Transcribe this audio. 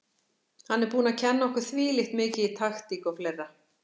Hann er búinn að kenna okkur þvílíkt mikið í taktík og fleira.